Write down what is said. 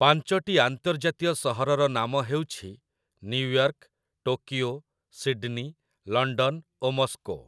ପାଞ୍ଚଟି ଆନ୍ତର୍ଜାତୀୟ ସହରର ନାମ ହଉଛି ନ୍ୟୁୟର୍କ, ଟୋକିଓ, ସିଡ୍‌ନୀ, ଲଣ୍ଡନ ଓ ମସ୍କୋ ।